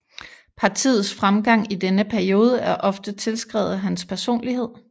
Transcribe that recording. Partiets fremgang i denne periode er ofte tilskrevet hans personlighed